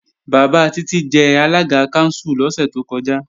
Bàbá Títí jẹ alága kánsù lọ́sẹ̀ tó kọjá